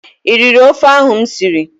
I riri ofe ahụ m siri?